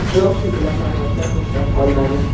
Biroq shu bilan namoyishlar to‘xtab qolmadi.